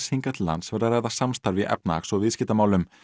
hingað til lands væri að ræða samstarf í efnahags og viðskiptamálum